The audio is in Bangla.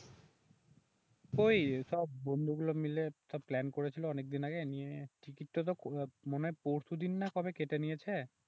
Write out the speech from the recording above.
ওইসব বন্ধুগুলো মিলে সব প্ল্যান করেছিল অনেকদিন আগে নিয়ে টিকিট তা তো মনে হয় পরশুদিন না কবে কেটে নিয়েছে